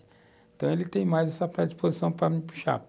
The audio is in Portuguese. Então, ele tem mais essa predisposição para me puxar.